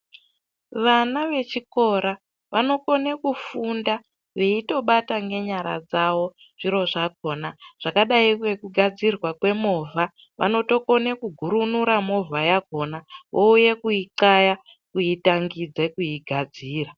Vana vechikora vanokone kufunda veitobata ngenyara dzavo zviro zvakhona zvakadai ngekugadzirwa kwemovha. Vanotokone kugurunura movha yakhona vouye kuitxaya kuitangidze kuigadzira.